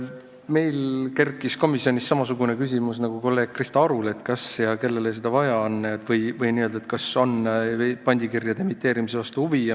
Meil kerkis komisjonis samasugune küsimus nagu kolleeg Krista Arul, et kas ja kellele seda vaja on või kas pandikirjade emiteerimise vastu on huvi.